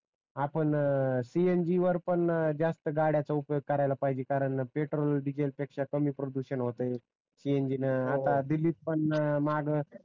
आपण cng वर पण जास्त गाड्याचा वापर करायला पहीजे कारण पेट्रोल डीजल पेक्षा कमी प्रदूषण होते cng न